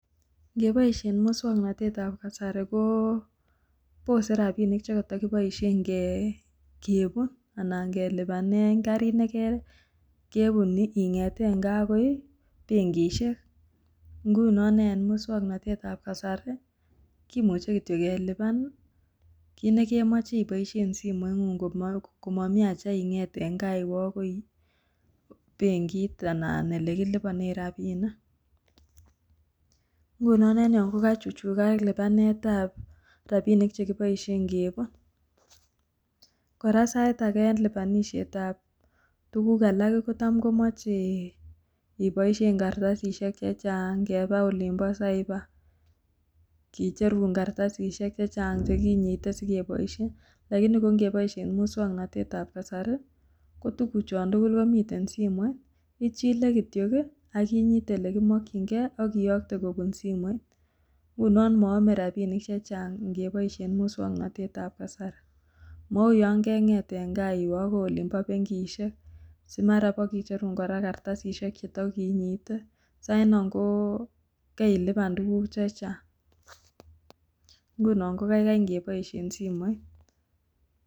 Ngeboisien muswoknatetab kasari koo bose rapinik chekoto kiboisien kepun anan kelipanen karik nekepun ing'eten gaa akoi benkisiek ngunon en muswoknatetab kasari kimuche kityok kelipan kit nekemoche iboisien simoingung komomi acha iwe akoi benkit anan elekilipanen rapinik ngunon en yon kokachuchukak lipanetab rapinik chekiboisien kepun kora sait ake en lipanishetab tukuk alak kotam komoche iboisien kartasisiek chechang kepaa olimp'cyber' kicherun kartasisiek cheng'ang chekinyite sikeboisien lakini ko ngeboisien muswoknatetab kasari ko tukochon tugul komiten simoit ichile kityok akinyit olekimokyingee akoyokte kopun simoit ngunon moome rapinik chechang ingeboisien muswoknatetab kasari mou yon kengeet en gaa iwee akoi olimpo benkisiek simara ipokicherun kartasisiek chetokinyite sainon kokarilipan tukuk chechang ngunon kokaikai ngeboisien simoit.